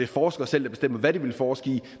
forskerne selv der bestemmer hvad de vil forske i